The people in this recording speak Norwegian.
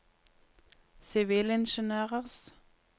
sivilingeniørers